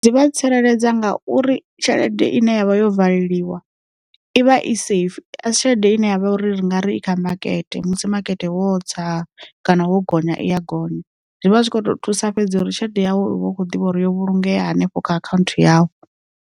Dzi vha tsireledza ngauri tshelede ine yavha yo valeliwa ivha i safe asi tshelede ine yavha uri ri nga ri i kha makete musi makete wo tsa kana wo gonya i ya gonya, zwivha zwikho thusa fhedza uri tshelede yawu u vha u kho ḓivha uri yo vhulungea hanefho kha akhanthu yau.